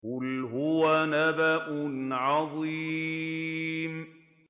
قُلْ هُوَ نَبَأٌ عَظِيمٌ